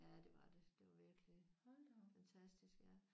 Ja det var det. Det var virkelig fantastisk ja